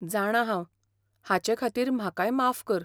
जाणां हांव ! हाचेखातीर म्हाकाय माफ कर.